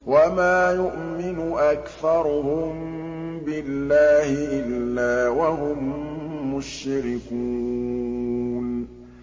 وَمَا يُؤْمِنُ أَكْثَرُهُم بِاللَّهِ إِلَّا وَهُم مُّشْرِكُونَ